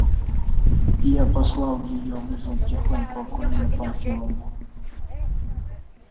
я подослал её вызвать тихонько акулину памфиловну